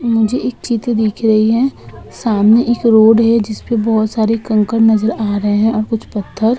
मुझे एक चित्र दिख रही है। सामने एक रोड है। जिस पर बहुत सारे कंकड़ नजर आ रहे हैं और कुछ पत्थर।